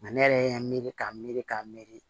Nka ne yɛrɛ y'a miiri k'a miiri k'a miiri